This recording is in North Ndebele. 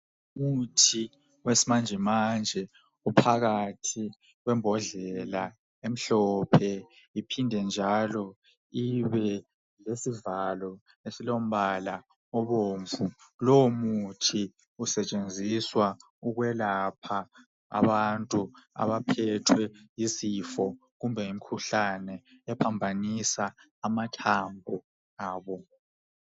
Ngumuthi wesimanje manje ophakathi kwembodlela emhlophe iphinde njalo ibe lesivalo esilombala obomvu lowo muthi usetshenziswa ukwelapha abantu abaphethwe yizifo kumbe imkhuhlane ephambanisa amathambo.